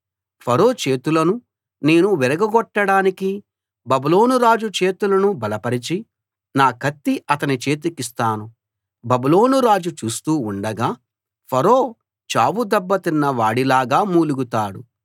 ఫరో చేతులను నేను విరగ గొట్టడానికి బబులోను రాజు చేతులను బలపరచి నా కత్తి అతని చేతికిస్తాను బబులోను రాజు చూస్తూ ఉండగా ఫరో చావు దెబ్బతిన్న వాడి లాగా మూలుగుతాడు